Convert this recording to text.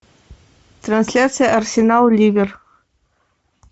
трансляция арсенал ливер